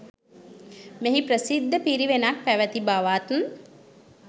මෙහි ප්‍රසිද්ධ පිරිවෙනක් පැවැති බවත්